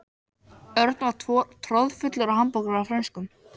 Örn var troðfullur af hamborgara og frönskum.